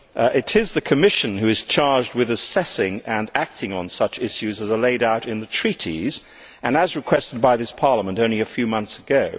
It is the Commission which is charged with assessing and acting on such issues as are laid out in the Treaties, and as requested by this Parliament only a few months ago.